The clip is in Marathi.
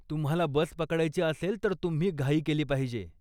तुम्हाला बस पकडायची असेल तर तुम्ही घाई केली पाहिजे.